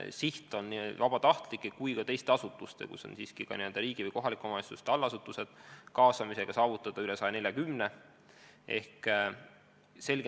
Siht on nii vabatahtlikke kui ka teisi asutusi – ma pean silmas ka riigi- ning kohalike omavalitsuste allasutusi – kaasates saavutada umbes 140 abilist.